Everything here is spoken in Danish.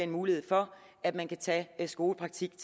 mulighed for at man kan tage skolepraktik